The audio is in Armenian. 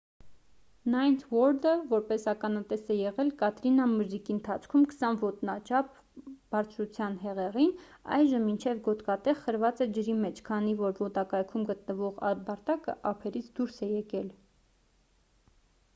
ninth ward-ը որ ականատես է եղել կատրինա մրրիկի ընթացքում 20 ոտնաչափ բարձրության հեղեղին այժմ մինչև գոտկատեղ խրված է ջրի մեջ քանի որ մոտակայքում գտնվող ամբարտակը ափերից դուրս է եկել: